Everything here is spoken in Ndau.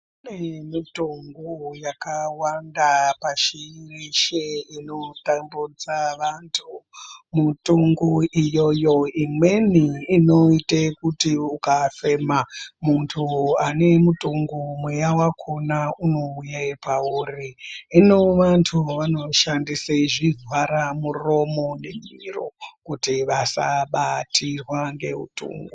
Kune Mithungu yakawanda pashi reshe inotambudze vantu muthungu iyoyo imweni inoite kuti ukafema muntu ane munthungu mweya wakona unouye pauri hino vantu vanoshandise zvivhara muromo nemiro kuti vasabatirwa ngemuthungu.